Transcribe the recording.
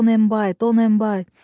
Donenbay, Donenbay.